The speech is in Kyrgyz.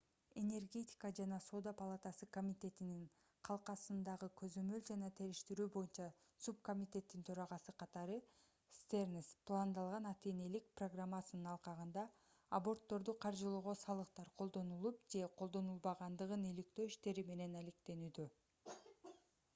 энергетика жана соода палатасы комитетинин калкасындагы көзөмөл жана териштирүү боюнча субкомитеттин төрагасы катары стернс пландалган ата-энелик программасынын алкагында абортторду каржылоого салыктар колдонулуп же колдонулбаганын иликтөө иштери менен алектенүүдө